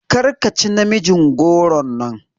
Karka ci namijin goron nan!